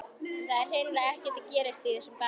En það er hreinlega ekkert að gerast í þessum bæ.